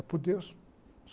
É por Deus.